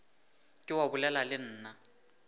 ke wa bolela le nna